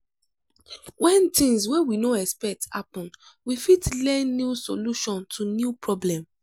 when things wey we no expect happen we fit learn new solution to new problem